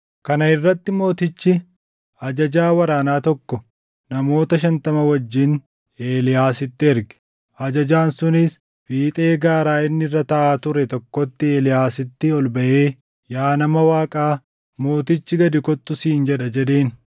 Kana irratti mootichi ajajaa waraanaa tokko namoota shantama wajjin Eeliyaasitti erge. Ajajaan sunis fiixee gaara inni irra taaʼaa ture tokkootti Eeliyaasitti ol baʼee, “Yaa nama Waaqaa, mootichi ‘Gad kottu!’ siin jedha” jedheen.